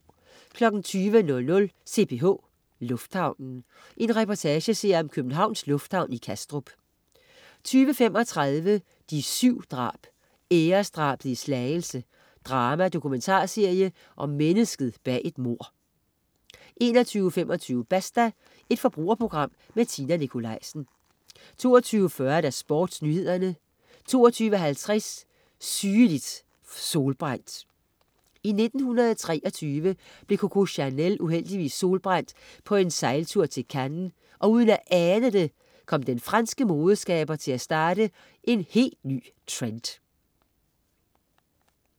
20.00 CPH. Lufthavnen. Reportageserie om Københavns Lufthavn i Kastrup 20.35 De 7 drab, æresdrabet i Slagelse. Drama-dokumentarserie om mennesket bag et mord 21.25 Basta. Forbrugerprogram med Tina Nikolaisen 22.40 SportsNyhederne 22.50 Sygelig solbrændt. I 1923 blev Coco Chanel uheldigvis solbrændt på en sejltur til Cannes, og uden at ane det, kom den franske moderskaber til at starte en helt ny trend